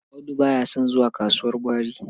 Audu ba ya son zuwa kasuwar gwari.